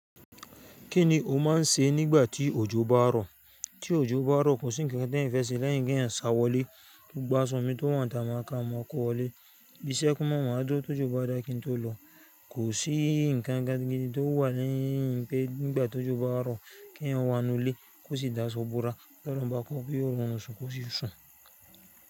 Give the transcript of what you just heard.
Kí ni o máà n ṣe nígbà tí òjò bá rọ̀? Tí òjò bá rọ̀ kò sí nǹkan kan tí ẹ́yàn fẹ́ ṣe lẹ́yìn kí èyàn sá wọlé, gbọ́gbá aṣọ mi tó wà níta màá ká màá kó wọlé. Iṣẹ́ kú màá wà, màá á dúró ti òjò bá dáa kí n tó lọ. Kò sí nǹkan kan gidi tó wà lẹ́yìn pé nígbà tó òjò bá rọ̀, kí èyàn wá nù ilé kó sì dá aṣọ bọra. Tí Ọlóọ̀run bá kọ pé yóò rí ọrun sùn yóò sì ṣùn.